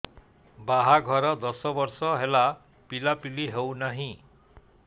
ବାହାଘର ଦଶ ବର୍ଷ ହେଲା ପିଲାପିଲି ହଉନାହି